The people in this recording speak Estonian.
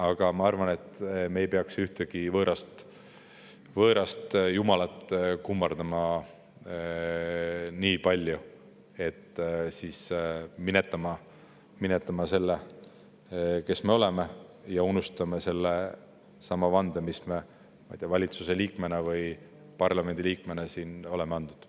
Aga ma arvan, et me ei peaks ühtegi võõrast jumalat kummardama nii palju, et me minetame selle, kes me oleme, ja unustame selle vande, mis me siin kas valitsuse või parlamendi liikmena oleme andud.